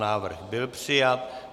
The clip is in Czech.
Návrh byl přijat.